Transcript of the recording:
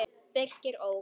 Birkir ók.